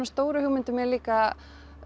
stóru hugmyndum er líka